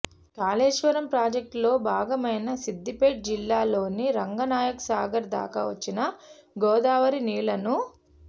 కాళేశ్వరం ప్రాజెక్టులో భాగమైన సిద్ధిపేట జిల్లాలోని రంగనాయకసాగర్ దాకా వచ్చిన గోదావరి నీళ్లను